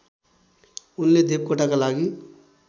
उनले देवकोटाका लागि